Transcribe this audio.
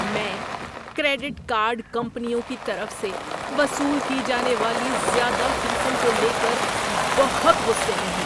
میں credit card کمپنیوں کی طرف سے وصول کی جانے والی زیادہ فیسوں کو لے کر بہت غصے میں ہوں۔